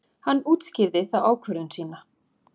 Hann útskýrði þá ákvörðun sína.